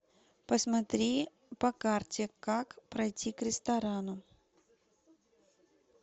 посмотри по карте как пройти к ресторану